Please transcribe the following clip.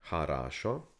Harašo?